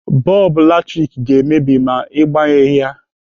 Bọlbụ latrik ga-emebi ma Ị gbanyụghị ya.